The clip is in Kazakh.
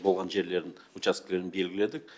болған жерлерін учаскелерін белгіледік